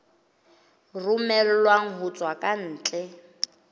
romellwang ho tswa ka ntle